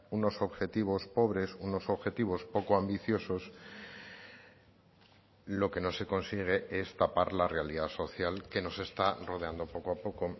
unos objetivos pobres unos objetivos poco ambiciosos lo que no se consigue es tapar la realidad social que nos está rodeando poco a